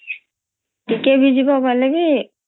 ଟିକେ ଭିଯିବ ଗଲେ ବି